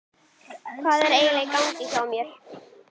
Hvað er eiginlega í gangi hjá mér?